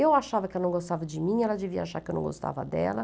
Eu achava que ela não gostava de mim, ela devia achar que eu não gostava dela.